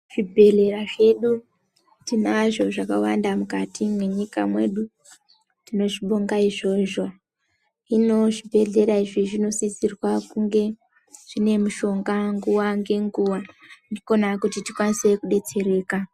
Zvibhedhlera zvedu tinazvo zvakawanda mukati mwenyika mwedu tinozvibonga izvozvo, hino zvibhedhlera izvi zvinosisirwa kunge zvine mushonga nguwa ngenguwa ndikona kuti tikwanise kubetsereka .